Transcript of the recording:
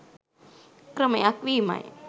ක්‍රමයක් වීමයි.